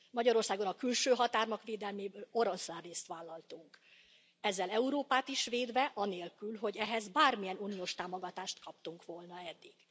Magyarországon a külső határok védelméből oroszlánrészt vállaltunk, ezzel Európát is védve, anélkül, hogy ehhez bármilyen uniós támogatást kaptunk volna eddig.